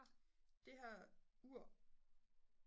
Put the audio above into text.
det her ur